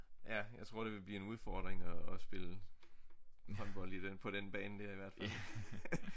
Ja jeg tror det vil blive en udfordring at at spille håndbold i på den bane dér i hvert fald